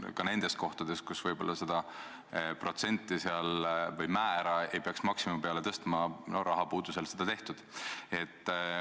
Ka nendes kohtades, kus võib-olla seda protsenti või määra ei peaks maksimumi peale tõstma, on rahapuudusel seda tehtud.